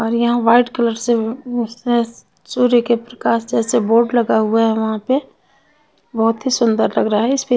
और यहाँ white colour से अ स सूर्य के प्रकाश जैसा बोर्ड लगा हुआ है वहाँ पे बहुतही सूंदर लग रहा है इस --